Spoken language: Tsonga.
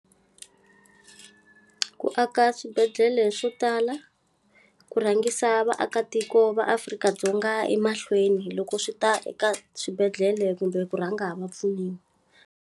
Ku aka swibedhlele swo tala, ku rhangisa vaakatiko va Afrika-Dzonga emahlweni loko swi ta eka swibedhlele kumbe ku rhanga va pfuniwa.